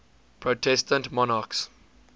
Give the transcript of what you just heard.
protestant monarchs